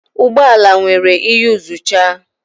Ụgbọ ala nwere iyuzucha.